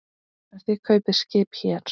En þið kaupið skip hér.